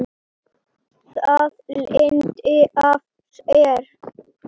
Það leiddi af sér óvissu.